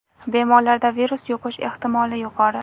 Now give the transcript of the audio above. Bemorlarda virus yuqish ehtimoli yuqori.